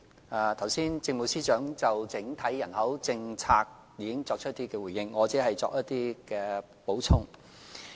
政務司司長剛才已就整體人口政策作出回應，我只會稍作補充。